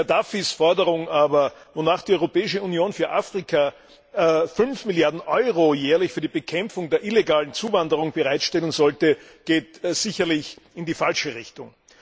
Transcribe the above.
Gaddafis Forderung aber, wonach die Europäische Union für Afrika fünf Milliarden Euro jährlich für die Bekämpfung der illegalen Zuwanderung bereitstellen sollte, geht sicherlich in die falsche Richtung.